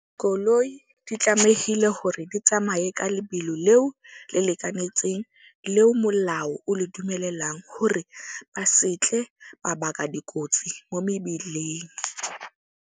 Koloi di tlamehile hore di tsamaye ka lebelo leo le lekanetseng, leo molao o le dumelelang hore ba setle ba baka dikotsi mo mebileng.